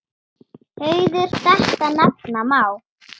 Hauður þetta nefna má.